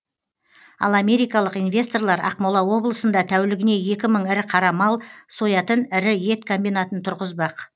ал америкалық инвесторлар ақмола облысында тәулігіне екі мың ірі қара мал соятын ірі ет комбинатын тұрғызбақ